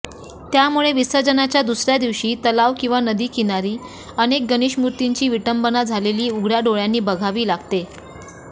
त्यामुळे विसर्जनाच्या दुसर्या दिवशी तलाव किंवा नदीकिनारी अनेक गणेशमूर्तींची विटंबना झालेली उघड्या डोळ्यांनी बघावे लागते